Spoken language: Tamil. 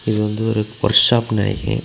இது வந்து ஒரு ஒர்க் ஷாப்னு நெனைக்கிறே.